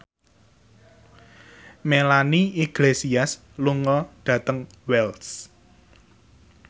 Melanie Iglesias lunga dhateng Wells